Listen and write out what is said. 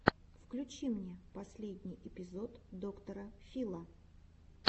включи мне последний эпизод доктора фила